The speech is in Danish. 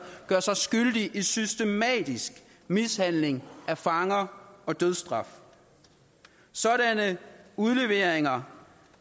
gør sig skyldige i systematisk mishandling af fanger og brug af dødsstraf sådanne udleveringer